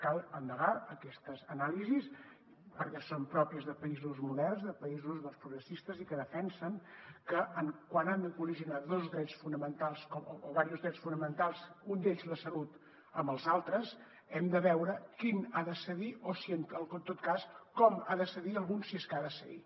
cal endegar aquestes anàlisis perquè són pròpies de països moderns de països progressistes i que defensen que quan han col·lidit dos drets fonamentals o diversos drets fonamentals un d’ells la salut amb els altres hem de veure quin ha de cedir o en tot cas com ha de cedir algun si és que ha de cedir